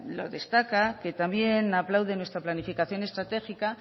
lo destaca que también aplaude nuestra planificación estratégica